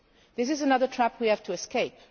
this is another trap we have to escape.